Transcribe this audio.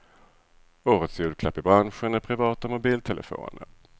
Årets julklapp i branschen är privata mobiltelefoner.